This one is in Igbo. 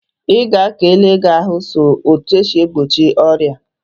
Ị ga ka ele gị ahụ sọ na etu e si egbochi ọrịa.